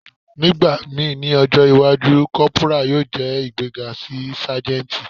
Nigbamii ni ọjọ iwaju, corporal yoo jẹ igbega si sajenti.